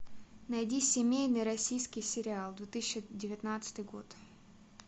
найди семейный российский сериал две тысячи девятнадцатый год